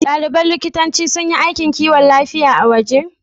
Ɗaliban likitanci sun yi aikin kiwon lafiya a waje?